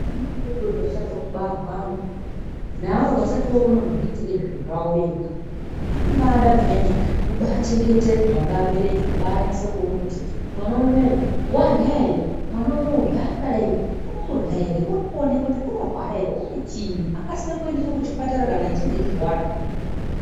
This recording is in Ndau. Vana vadodori vachabve kubarwa neavo vasati vokone kuzviitira zviro zvavo vega vanombaada peyani kubaachengetedwa nevabereki, kubaanyasa kuona kuti mwana unowu warya ere, mwana unowu zvaakadai urikurya ere, urikoneka kuti unorwara ere, une chiinyi akasike kuendeswe kuchipatara kana echinge echirwara.